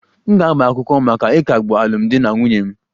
M ga-agba akwụkwọ maka ịkagbu alụmdi na nwunye m